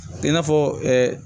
I n'a fɔ ɛ